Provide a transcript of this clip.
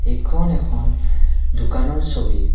এইখন এখন দোকানৰ ছবি।